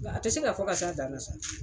N ga a te se ka fɔ ka s'a dan na.